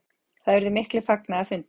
Það urðu miklir fagnaðarfundir.